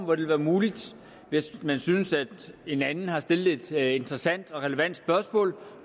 vil være muligt hvis man synes en anden har stillet et interessant og relevant spørgsmål